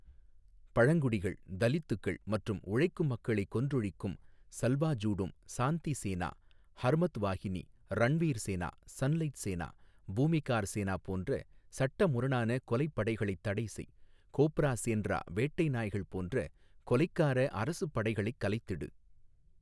பழங்குடிகள் தலித்துக்கள் மற்றும் உழைக்கும் மக்களைக் கொன்றொழிக்கும் சல்வாஜூடும் சாந்தி சேனா ஹர்மத்வாஹினி ரண்வீர் சேனா சன்லைட் சேனா பூமிகார் சேனா போன்ற சட்டமுரணான கொலைப் படைகளைத் தடைசெய் கோப்ரா சேண்ரா வேட்டை நாய்கள் போன்ற கொலைக்கார அரசுப் படைகளைக் கலைத்திடு.